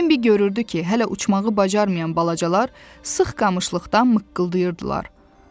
Bembi görürdü ki, hələ uçmağı bacarmayan balacalar sıx qamışlıqdan mıqqıldıyardılar.